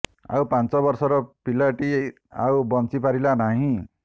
ଆଉ ପାଞ୍ଚ ବର୍ଷର ପିଲାଟି ଆଉ ବଞ୍ଚି ପାରିଲା ନାହିଁ